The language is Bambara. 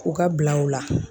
K'u ka bila u la.